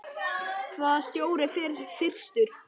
Hvaða stjóri fer fyrstur?